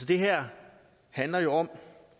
det her handler jo om